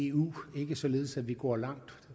eu og ikke således at vi går langt